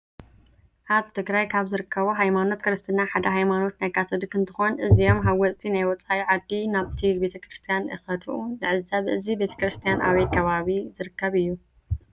አብ ትግራይ ካብ ዝርከቡ ሃይማኖት ክርስትና ሓደ ሃይማኖት ናይ ካቶሊክ እንትኮን እዚም ሃወፅቲ ናይ ወፃኢ ዓዲ ናብቲ ቤተክረስትያን እከዱ ንዕዘብ እዚ ቤተክርስትያን አበይ ከባቢ ዝርከብ እዩ?